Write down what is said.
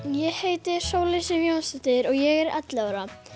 ég heiti Sóley Sif Jónsdóttir og ég er ellefu ára